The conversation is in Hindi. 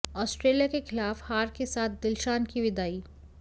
ऑस्ट्रेलिया के खिलाफ हार के साथ दिलशान की विदाई